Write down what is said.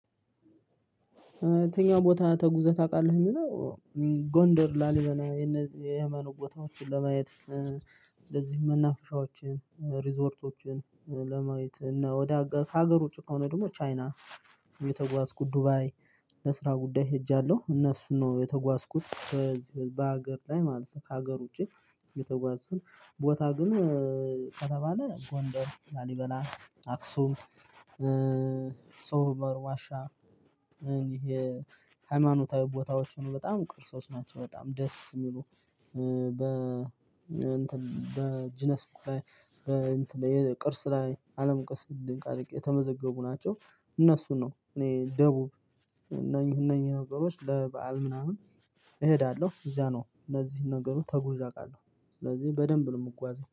የትኛው ቦታ ተጉዘህ ታውቃለህ የሚለው ጎንደር ላሊበላ የነዚህ የመኑ ቦታዎችን ለማየት እንደዚህ መናፍሻዎችን ሪዞርቶችን ለማየት እና ወደ ከሀገር ውጭ ከሆነ ደግሞ ቻይና የተጓዝኩት ዱባይ ለስራ ጉዳይ ሄጃለሁ። እነሱን ነው የተጓዝኩት በዚህ በሀገር ላይ ማለት ከሀገር ውጪ የተጓዝኩት ቦታ ግን ከተባለ ጎንደር ላሊበላ አክሱም ሶፎመር ዋሻ ሃይማኖታዊ ቦታዎች ነው በጣም ቅርሶች ናቸው በጣም ደስ የሚሉ በጂነስ በ በቅርስ ላይ አለምቅርስ ድንቅ ድንቅ የተመዘገቡ ናቸው። እነሱን ነው እኔ ደቡብ እነኚህ እነኚህ ነገሮች ለበአል ምናምን እሄዳለሁ እዛ ነው እነዚህን ነገሮች ተጉዤ አቃለሁ። ስለዚህ በደንብ ነው የምጓዘው